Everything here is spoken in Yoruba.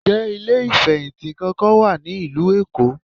Ǹjẹ́ ilé ìfẹ̀hìntì kankan wà ní ìlú Èkó?